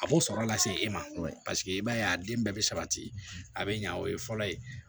A b'o sɔrɔ lase e ma paseke i b'a ye a den bɛɛ bɛ sabati a bɛ ɲa o ye fɔlɔ ye